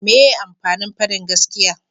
meye amfanin fadin gaskiya?